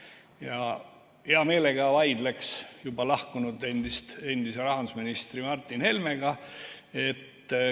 Ma hea meelega vaidleks juba siit saalist lahkunud endise rahandusministri Martin Helmega.